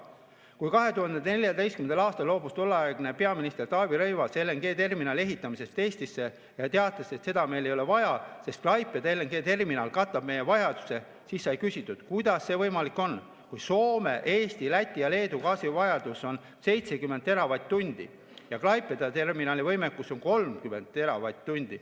Kui 2014. aastal loobus tolleaegne peaminister Taavi Rõivas LNG‑terminali ehitamisest Eestisse ja teatas, et seda meil ei ole vaja, sest Klaipeda terminal katab meie vajaduse, siis sai küsitud, kuidas see võimalik on, kui Soome, Eesti, Läti ja Leedu gaasivajadus on 70 teravatt-tundi ja Klaipeda terminali võimekus on 30 teravatt-tundi.